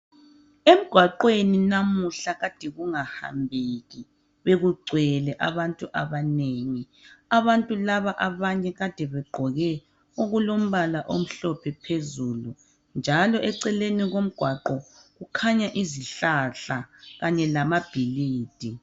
Emgwaqweni namuhla kade kunga hambeki bekugcwele abantu abanengi. Abantu laba abanye kade begqoke okulombala omhlophe phezulu njalo eceleni ko mgwaqo kukhanya izihlahla kanye lamabhilidi.